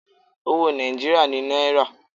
Owó Nàìjíríà ni náírà.